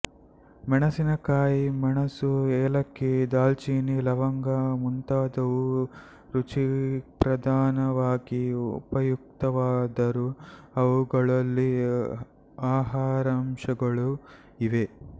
ಮೆಣಸಿನಕಾಯಿ ಮೆಣಸು ಏಲಕ್ಕಿ ದಾಲ್ಚಿನ್ನಿ ಲವಂಗ ಮುಂತಾದುವು ರುಚಿಪ್ರಧಾನವಾಗಿ ಉಪಯುಕ್ತವಾದರೂ ಅವುಗಳಲ್ಲಿ ಆಹಾರಾಂಶಗಳೂ ಇವೆ